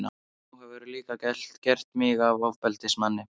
Nú hefurðu líka gert mig að ofbeldismanni.